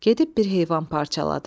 Gedib bir heyvan parçaladı.